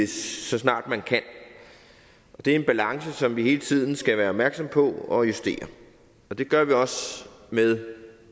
så snart man kan det er en balance som vi hele tiden skal være opmærksomme på og justere og det gør vi også med